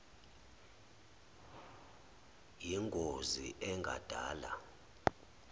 yin gozi engadala